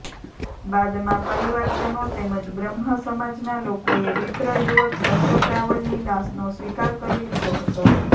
બાદમાં પરિવારજનો તેમજ બ્રહ્મ સમાજના લોકોએ વિપ્ર યુવક કશ્યપ રાવલની લાશનો સ્વીકાર કરી લીધો હતો